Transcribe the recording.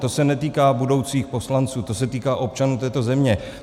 To se netýká budoucích poslanců, to se týká občanů této země.